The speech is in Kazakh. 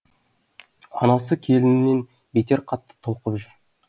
анасы келінінен бетер қатты толқып жүр